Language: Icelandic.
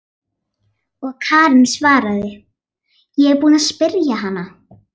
Og Karen svaraði: Ég er búin að spyrja hana.